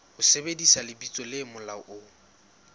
ho sebedisa lebitso le molaong